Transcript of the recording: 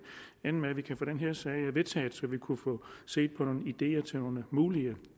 ende med at vi kan få den her sag vedtaget så vi kunne få set på nogle ideer til mulige